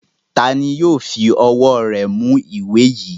Ta ni yóò fi ọwọ́ rẹ̀ mú ìwé yìí?